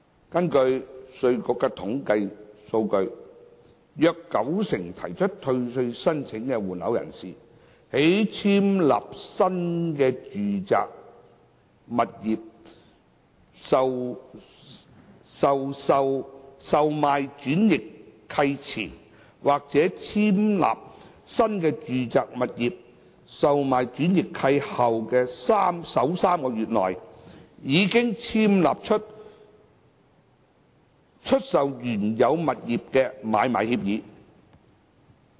根據稅務局的統計數據，約九成提出退稅申請的換樓人士，在簽立新住宅物業的售賣轉易契前，或在簽立新住宅物業的售賣轉易契後的首3個月內，已簽立出售原有物業的買賣協議。